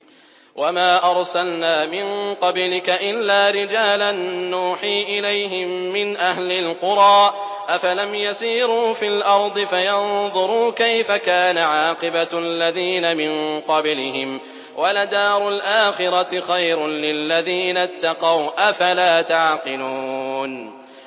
وَمَا أَرْسَلْنَا مِن قَبْلِكَ إِلَّا رِجَالًا نُّوحِي إِلَيْهِم مِّنْ أَهْلِ الْقُرَىٰ ۗ أَفَلَمْ يَسِيرُوا فِي الْأَرْضِ فَيَنظُرُوا كَيْفَ كَانَ عَاقِبَةُ الَّذِينَ مِن قَبْلِهِمْ ۗ وَلَدَارُ الْآخِرَةِ خَيْرٌ لِّلَّذِينَ اتَّقَوْا ۗ أَفَلَا تَعْقِلُونَ